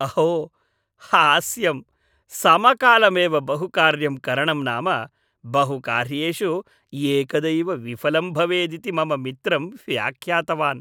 अहो हास्यं! समकालमेव बहुकार्यं करणं नाम बहुकार्येषु एकदैव विफलं भवेदिति मम मित्रं व्यख्यातवान्।